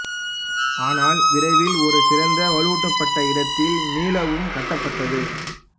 ஆனால் விரைவில் ஒரு சிறந்த வலுவூட்டப்பட்ட இடத்தில் மீளவும் கட்டப்பட்டது